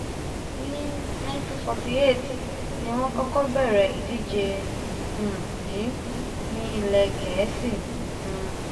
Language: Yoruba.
ní nineteen forty eight ní wọ́n kọ́kọ́ bẹ̀rẹ̀ ìdíje um yìí ní ilẹ̀ gẹ̀ẹ́sì um